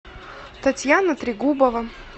татьяна трегубова